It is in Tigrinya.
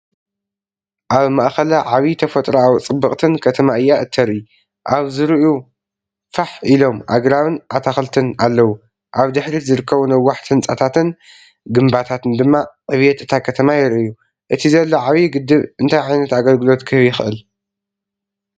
ኣብ ማእከላ ዓቢ ተፈጥሮኣዊ ጽብቕትን ከተማ እያ እተርኢ። ኣብ ዙርያኡ ፋሕ ኢሎም ኣግራብን ኣታኽልትን ኣለዉ፣ ኣብ ድሕሪት ዝርከቡ ነዋሕቲ ህንጻታትን ግምብታትን ድማ ዕብየት እታ ከተማ የርእዩ። እቲ ዘሎ ዓቢ ግድብ እንታይ ዓይነት ኣገልግሎት ክህብ ይኽእል?